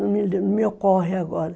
Não me ocorre agora.